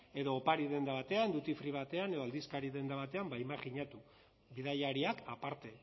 edo opari denda batean duty free batean edo aldizkari denda batean ba imajinatu bidaiariak aparte